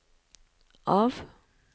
av